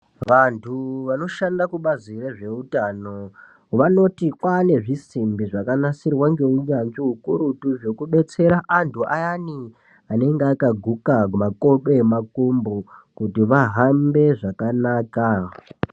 Vantu vanoshanda kubazi rezveutano vanoti kwaanezvisimbi zvakanasirwa ngeunyanzvi ukurutu zvekubetsera antu ayani anenge akaguka makodo emakumbo kuti vahambe zvakanaka.